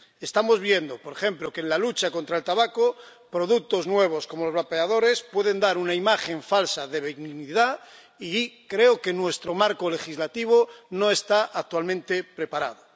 Estamos viendo, por ejemplo, que, en la lucha contra el tabaco, productos nuevos, como los vapeadores, pueden dar una imagen falsa de benignidad, y creo que nuestro marco legislativo no está actualmente preparado.